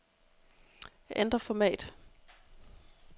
Ændr format.